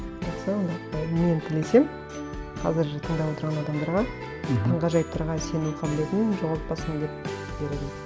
жақсы онда і мен тілесем қазір тыңдап отырған адамдарға мхм таңғажайыптарға сену қабілетін жоғалтпасын деп тілер едім